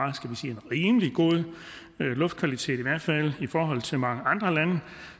en rimelig god luftkvalitet i hvert fald i forhold til mange andre lande